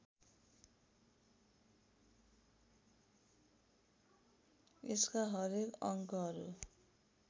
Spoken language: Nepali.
यसका हरेक अङ्गहरू